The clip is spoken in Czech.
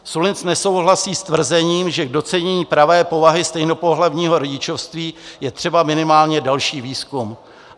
Sullins nesouhlasí s tvrzením, že k docenění pravé povahy stejnopohlavního rodičovství je třeba minimálně další výzkum.